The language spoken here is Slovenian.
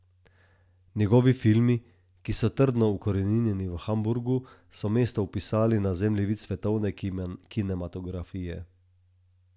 Njegovi filmi, ki so trdno ukoreninjeni v Hamburgu, so mesto vpisali na zemljevid svetovne kinematografije.